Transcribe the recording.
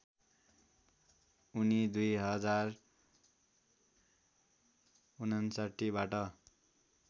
उनी २०५९ बाट